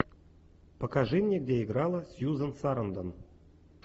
покажи мне где играла сьюзан сарандон